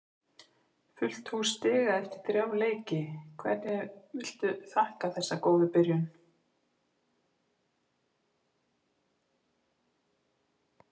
Fullt hús stiga eftir þrjá leiki, hverju viltu þakka þessa góðu byrjun?